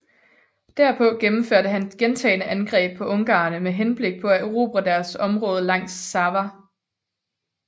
Derpå gennemførte han gentagne angreb på ungarerne med henblik på at erobre deres område langs Sava